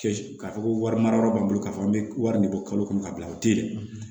k'a fɔ ko wari mara yɔrɔ b'an bolo k'a fɔ an bɛ wari de bɔ kalo kɔnɔ ka bila o tɛ yen